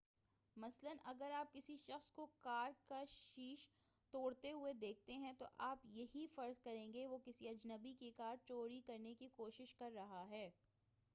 مثلا اگر آپ کسی شخص کو کار کا شیش توڑتے ہوئے دیکھتے ہیں تو آپ یہی فرض کریں گے کہ وہ کسی اجنبی کی کار چوری کرنے کی کوشش کر رہا ہے